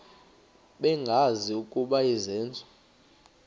bengazi ukuba izenzo